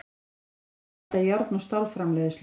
Kísiljárn er notað í járn- og stálframleiðslu.